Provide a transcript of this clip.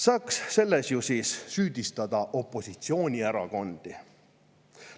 Siis saaks selles ju süüdistada opositsioonierakondi.